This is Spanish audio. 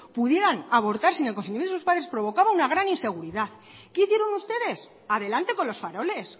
pudieran abortar sin el consentimiento de sus padres provocaba una gran inseguridad qué hicieron ustedes adelante con los faroles